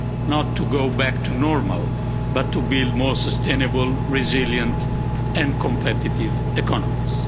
not to go back to normal but to build more sustainable, resilient and competitive economies.